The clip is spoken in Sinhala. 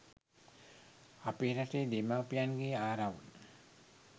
අපේ රටේ දෙමාපියන්ගේ ආරවුල්